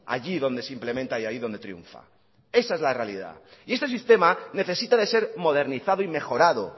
allí donde simplemente y ahí donde triunfa esa es la realidad y este sistema necesita de ser modernizado y mejorado